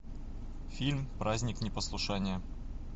фильм праздник непослушания